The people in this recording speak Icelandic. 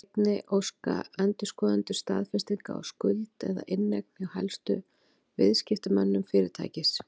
Einnig óska endurskoðendur staðfestinga á skuld eða inneign hjá helstu viðskiptamönnum fyrirtækisins.